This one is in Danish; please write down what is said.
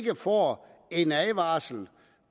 får en advarsel